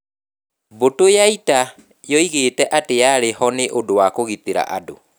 Mbũtũ ya ita yoigĩte atĩ yarĩ ho nĩ ũndũ wa kũgitĩra andũ.